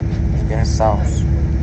сбер саус